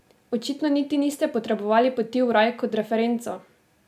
Očitno niti niste potrebovali Poti v raj kot referenco?